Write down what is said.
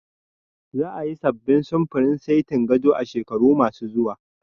Za a yi sabbin samfurin setin gado a shekaru ma su zuwa